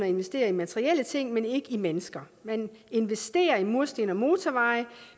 investere i materielle ting men ikke i mennesker man investerer i mursten og motorveje